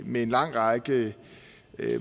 med en lang række